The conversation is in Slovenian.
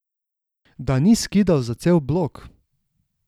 Da ni skidal za cel blok?